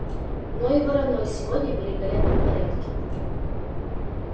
но и вороной сегодня в великолепном порядке